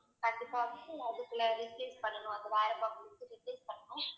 கண்டிப்பா அதுக்கு replace பண்ணணும் அது வேற box கொடுத்து replace பண்ணணும்